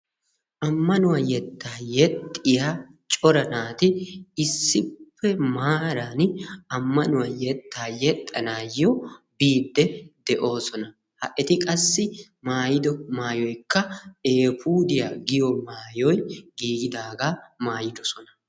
ammanuwa yetta yeexxiyaa cora naati issippe maaran ammanuwaa yetta yeexxanayo biide de'oosona. eti qassi maayyido maayoykka eefudiyaa giyo maayoy giigidaaga maayyidoosona.